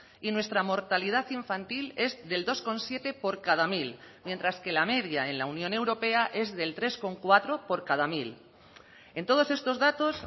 y nuestra mortalidad infantil es del dos coma siete por cada mil mientras que la media en la unión europea es del tres coma cuatro por cada mil en todos estos datos